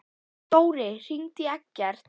Dóri, hringdu í Eggert.